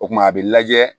O kumana a bɛ lajɛ